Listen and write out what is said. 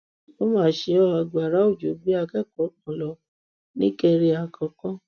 ó mà ṣe ọ agbára òjò gbé akẹkọọ kan lọ nìkéré àkọkọ